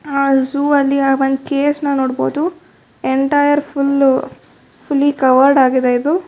ಆ ಝೋವ್ ಅಲ್ಲಿ ಆ ಒಂದ ಕೇಸ್ ನ ನೋಡಬಹುದು ಎಂಟೈರ್ ಫುಲ್ಲು ಫುಲ್ಲಿ ಕವರ್ಡ್ ಆಗಿದೆ ಇದು.